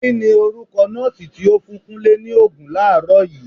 Kini orúkọ nọọsi tí ó fún Kúnlé ni Ògùn làárọ̀ yii?